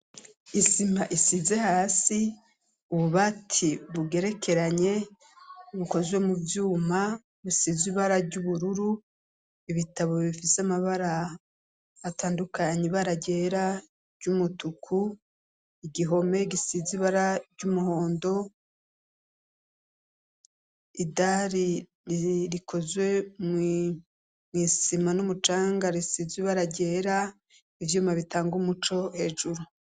Isima isize hasi ,ububati bugerekeranye bukozwe mu vyuma busize ibara ry'ubururu, ibitabo bifise amabara atandukanye ibara ryera ry'umutuku, igihome gisize ibara ry'umuhondo ,idari rikozwe mw'isima n'umucanga risizwe ibara ryera, ivyuma bitanga umuco hejuru.